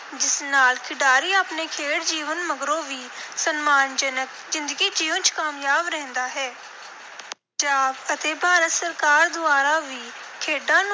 ਜਿਸ ਨਾਲ ਖਿਡਾਰੀ ਆਪਣੇ ਖੇਡ ਜੀਵਨ ਮਗਰੋਂ ਵੀ ਸਨਮਾਨਜਨਕ ਜ਼ਿੰਦਗੀ ਜਿਊਂਣ ਚ ਕਾਮਯਾਬ ਰਹਿੰਦਾ ਹੈ। ਪੰਜਾਬ ਅਤੇ ਭਾਰਤ ਸਰਕਾਰ ਦੁਆਰਾ ਵੀ ਖੇਡਾਂ ਨੂੰ